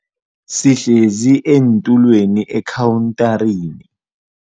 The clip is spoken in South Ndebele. Sihlezi eentulweni ekhawuntarini.